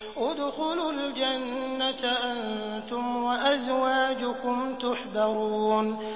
ادْخُلُوا الْجَنَّةَ أَنتُمْ وَأَزْوَاجُكُمْ تُحْبَرُونَ